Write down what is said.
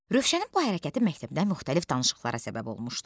Rövşənin bu hərəkəti məktəbdə müxtəlif danışıqlara səbəb olmuşdu.